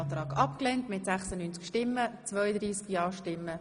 Sie haben den Kredit einstimmig angenommen.